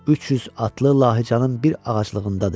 300 atlı Lahıcanın bir ağaclığındadır.